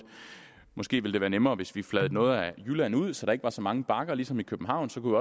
måske ville det være nemmere hvis vi fladede noget af jylland ud så der ikke var så mange bakker ligesom i københavn så kunne